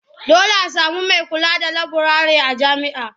Dole a sami mai kula da laburare a jami'a.